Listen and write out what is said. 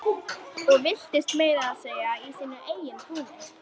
Og villtist meira að segja í sínu eigin túni.